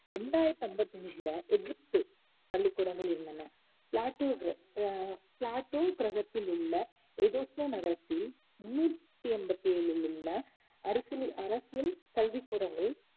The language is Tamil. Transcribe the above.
இரண்டாயிரத்து ஐம்பத்து அஞ்சுல எகிப்து பள்ளிக்கூடங்கள் இருந்தன பிளாட்டு கிரகத்தில் உள்ள நகரத்தில் முந்நூத்தி எண்பத்து ஏழில் உள்ள அரசியல் கல்விக்கூடங்கள்